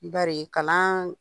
N bari ka na